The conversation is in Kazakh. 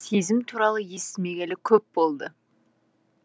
сезім туралы естімегелі көп болды